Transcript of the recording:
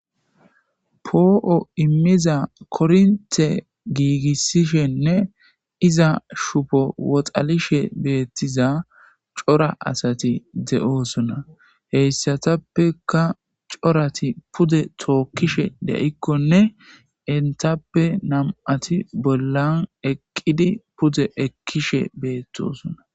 poo7o immiza kornte giigissishenne iza shubo woxalishe beettiza cora asati de7oosona heyssatappeka corati pude tookkishe de7ikkonne intappe nam7ati bollan eqqidi pude ekkishe beettosona